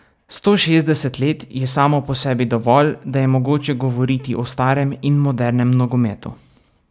Sto šestdeset let je samo po sebi dovolj, da je mogoče govoriti o starem in modernem nogometu.